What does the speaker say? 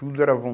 Tudo era bom.